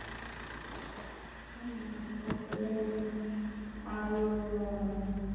ହୁଁ ତାପରେ ଆଉ